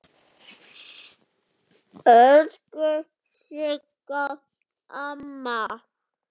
Elsku Sigga amma.